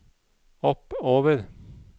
oppover